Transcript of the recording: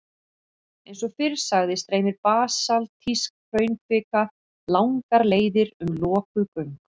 Eins og fyrr sagði streymir basaltísk hraunkvika langar leiðir um lokuð göng.